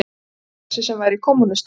Maður þessi, sem væri kommúnisti